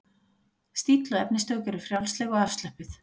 Stíll og efnistök eru frjálsleg og afslöppuð.